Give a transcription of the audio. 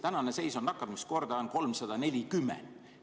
Tänane seis on see, et nakkuskordaja on 340.